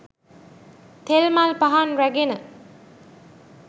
තෙල් මල් පහන් රැගෙන